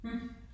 Hm